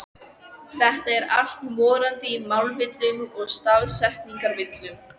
Þetta er allt morandi í málvillum og stafsetningarvillum!